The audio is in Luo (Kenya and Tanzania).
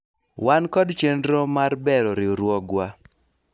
wan kod chenro mar bero riwruogwa